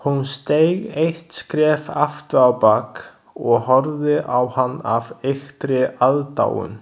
Hún steig eitt skref afturábak og horfði á hann af ýktri aðdáun.